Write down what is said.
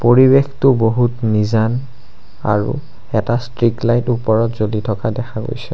পৰিৱেশটো বহুত নিজান আৰু এটা ষ্ট্ৰীক লাইট ওপৰত জ্বলি থকা দেখা গৈছে।